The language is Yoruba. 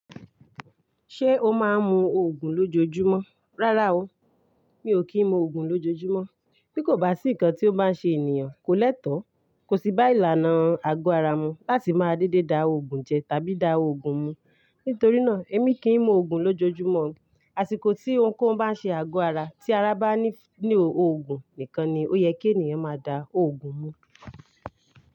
Ṣé o máa ń mu Ògùn lójoojúmọ́? Rárá o, mi ò kí ń mu Ògùn lójoojúmọ́. Bí kò bá sí nǹkan tí ó bá ń ṣe ènìyàn, kò lẹ́tọ̀ọ́, kò sí bá ìlànà àgọ́ ara mu láti máa dédé da Ògùn jẹ tàbí da Ògùn mu. Nítorí náà, èmi kì í mu Ògùn lójoojúmọ́. Àsìkò tí ohunkóhun bá ń ṣe àgọ́ ara tí ara bá ní Ògùn nìkan ni ó yẹ kí ènìyàn máa da Ògùn mu.